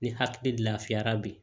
Ni hakili lafiyara bi